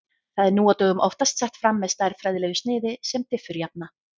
Það er nú á dögum oftast sett fram með stærðfræðilegu sniði sem diffurjafna.